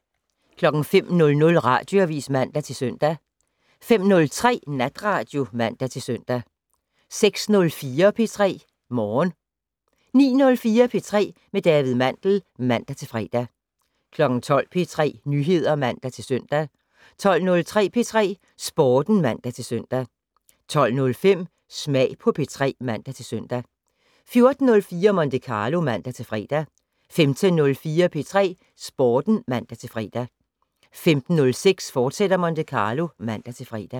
05:00: Radioavis (man-søn) 05:03: Natradio (man-søn) 06:04: P3 Morgen 09:04: P3 med David Mandel (man-fre) 12:00: P3 Nyheder (man-søn) 12:03: P3 Sporten (man-søn) 12:05: Smag på P3 (man-søn) 14:04: Monte Carlo (man-fre) 15:04: P3 Sporten (man-fre) 15:06: Monte Carlo, fortsat (man-fre)